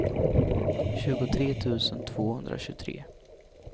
tjugotre tusen tvåhundratjugotre